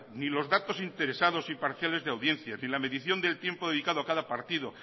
ni los datos interesados y parciales de audiencia ni la medición del tiempo dedicado a cada partido